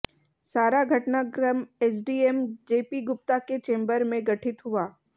सारा घटनाक्रम एसडीएम जेपी गुप्ता के चेंबर मैं गठित हुआ